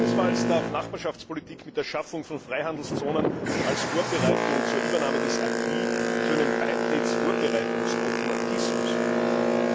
Keinesfalls darf Nachbarschaftspolitik mit der Schaffung von Freihandelszonen als Vorbereitung zur Übernahme des aquis zu einem Beitrittsvorbereitungsautomatismus verkommen.